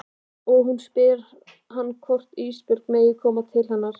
Og hún spyr hann hvort Ísbjörg megi koma til hennar.